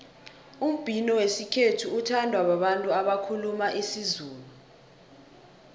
umbhino wesikhethu uthandwa babantu abakhuluma isizulu